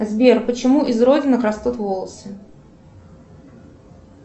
сбер почему из родинок растут волосы